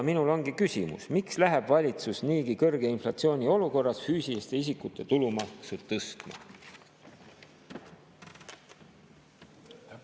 Minul ongi küsimus: miks läheb valitsus niigi kõrge inflatsiooni olukorras füüsiliste isikute tulumaksu tõstma?